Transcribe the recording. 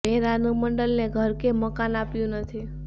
મેં રાનુ મંડલને કોઈ ઘર કે મકાન આપ્યું નથી